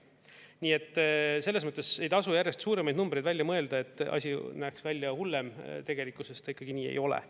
Nii et selles mõttes ei tasu järjest suuremaid numbreid välja mõelda, et asi näeks välja hullem, tegelikkuses ta ikkagi nii ei ole.